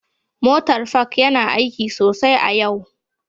Motar Park yana aiki sosai a yau